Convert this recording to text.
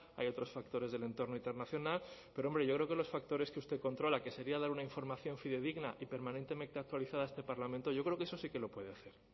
hay otros factores del entorno internacional pero hombre yo creo que los factores que usted controla que sería dar una información fidedigna y permanentemente actualizada a este parlamento yo creo que eso sí que lo puede hacer